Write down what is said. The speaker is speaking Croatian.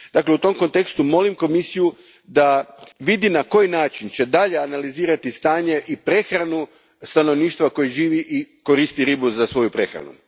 Dakle, u tom kontekstu, molim Komisiju da vidi na koji način će dalje analizirati stanje i prehranu stanovništva koje živi i koristi ribu za svoju prehranu.